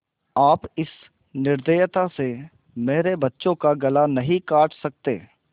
आप इस निर्दयता से मेरे बच्चों का गला नहीं काट सकते